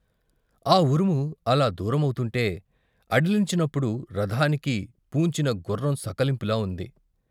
ఆ ఉరుము అలా దూరమవుతుంటే అదిలించినప్పుడు రథానికి పూన్చిన గుర్రం సకిలింపులా ఉంది.